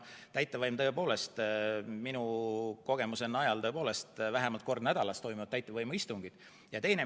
Minu kogemuse najal toimuvad täitevvõimu istungid vähemalt kord nädalas.